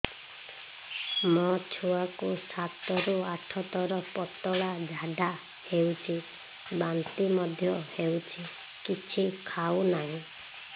ମୋ ଛୁଆ କୁ ସାତ ରୁ ଆଠ ଥର ପତଳା ଝାଡା ହେଉଛି ବାନ୍ତି ମଧ୍ୟ୍ୟ ହେଉଛି କିଛି ଖାଉ ନାହିଁ